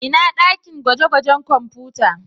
Ina dakin gwaje-gwajen kwamfuta?